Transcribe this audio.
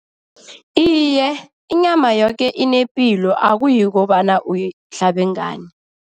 Iye, inyama yoke inepilo akuyi kobana uyahlabe ngani.